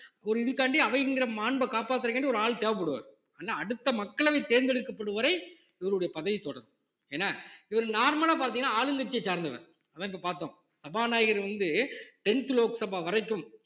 ஒரு இதுக்காண்டி அவைங்கற மாண்பை காப்பாத்தறதுக்காண்டி ஒரு ஆள் தேவைப்படுவார் அடுத்த மக்களவைத் தேர்ந்தெடுக்கப்படும் வரை இவருடைய பதவி தொடரும் என்ன இவரு normal லா பார்த்தீங்கன்னா ஆளுங்கட்சியைச் சார்ந்தவர் அதான் இங்க பார்த்தோம் சபாநாயகர் வந்து tenth லோக்சபா வரைக்கும்